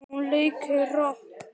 Hún leikur rokk.